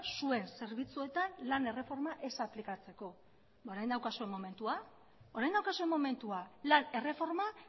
zuen zerbitzuetan lan erreforma ez aplikatzeko ba orain daukazue momentua orain daukazue momentua lan erreforma